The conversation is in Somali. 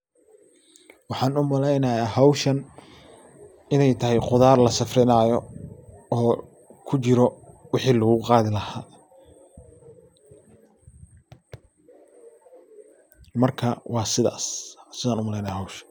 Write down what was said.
Waxaan u maleynaya inay tahay hawshan qudaar lasafrinaayo oo kujiro waxii laguqaadi laha. marka waa sidas sidan u maleynaayo.